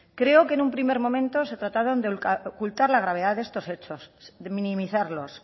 creo que en un primer momento se trataron de ocultar la gravedad de estos hechos de minimizarlos